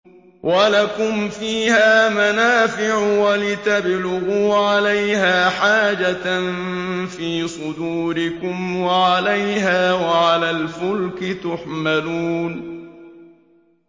وَلَكُمْ فِيهَا مَنَافِعُ وَلِتَبْلُغُوا عَلَيْهَا حَاجَةً فِي صُدُورِكُمْ وَعَلَيْهَا وَعَلَى الْفُلْكِ تُحْمَلُونَ